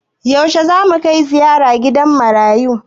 Yaushe zamu kai ziyara gidan marayu?